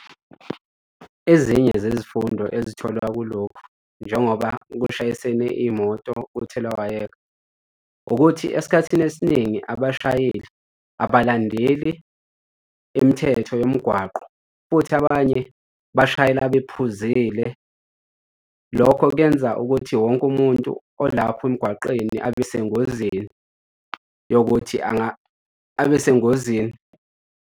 Ezinye zezifundo ezitholwa kulokhu njengoba kushayisene imoto kuthelawayeka ukuthi esikhathini esiningi abashayeli abalandeli imithetho yomgwaqo futhi abanye bashayela bephuzile. Lokho kuyenza ukuthi wonke umuntu olapho emgwaqeni abe sengozini yokuthi abe sengozini.